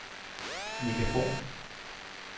Megafon